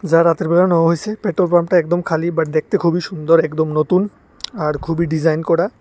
যা রাতেরবেলা নেওয়া হয়েছে পেট্রোল পাম্পটা একদম খালি বাট দেখতে খুবই সুন্দর একদম নতুন আর খুবই ডিজাইন করা।